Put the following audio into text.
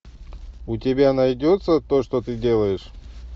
у тебя найдется то что ты делаешь